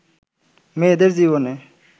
মেয়েদের জীবনে